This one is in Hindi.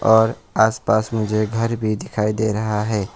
और आसपास मुझे घर भी दिखाई दे रहा है।